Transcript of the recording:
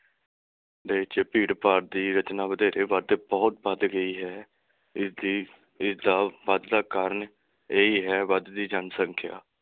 ਦੇਸ਼ ਵਿਚ ਭੀੜ ਭਾੜ ਦੀ ਰਚਨਾ ਵਧੇਰੇ ਵੱਧ ਬਹੁਤ ਵੱਧ ਗਈ ਹੈ। ਇਸਦੀ ਇਸਦਾ ਵਧਦਾ ਕਾਰਨ ਇਹੀ ਹੈ ਵੱਧ ਦੀ ਜਨਸੰਖਿਆ।